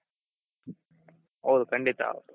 ಹೌದು ಖಂಡಿತ ಹೌದು